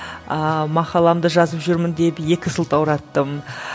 ыыы мақаламды жазып жүрмін деп екі сылтаураттым